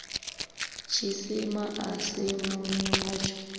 tshisima a si munwi watsho